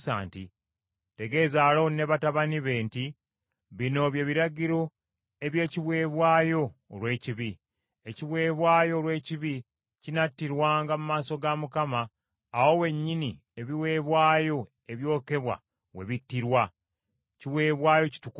“Tegeeza Alooni ne batabani be nti bino bye biragiro eby’ekiweebwayo olw’ekibi. Ekiweebwayo olw’ekibi kinattirwanga mu maaso ga Mukama awo wennyini ebiweebwayo ebyokebwa we bittirwa; kiweebwayo kitukuvu nnyo.